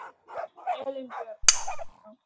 Elínbjörg, hvað er að frétta?